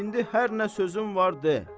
İndi hər nə sözün var de.